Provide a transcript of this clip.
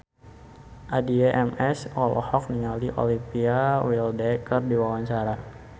Addie MS olohok ningali Olivia Wilde keur diwawancara